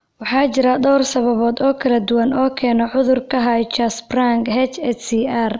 Waxaa jira dhowr sababood oo kala duwan oo keena cudurka Hirschsprunga (HSCR).